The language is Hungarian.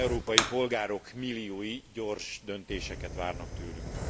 Európai polgárok milliói gyors döntéseket várnak tőlünk.